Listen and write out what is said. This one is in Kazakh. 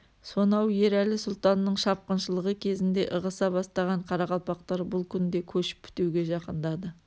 сонау ерәлі сұлтанның шапқыншылығы кезінде ығыса бастаған қарақалпақтар бұл күнде көшіп бітуге жақындады